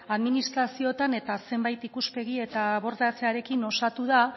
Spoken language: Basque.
administrazioetan eta zenbait ikuspegi eta abortatzearekin osatu da